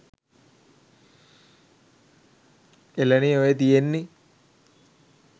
එළනේ ඔය තියෙන්නේ